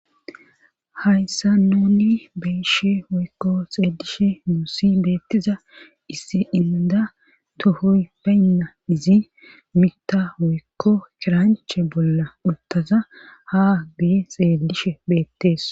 Hayssan nuuni be'ishe woykko xeelishe dishin beetiza issi indda tohoy bayna izi miththa woykko kiranche bolla uttada ha guye xeelishe beetees.